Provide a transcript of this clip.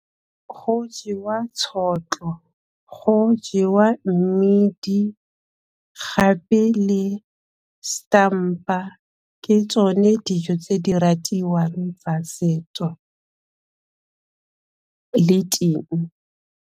Go jewa tšhotlo, go jewa mmidi gape le setampa, ke tsone dijo tse di ratiwang tsa setso le ting.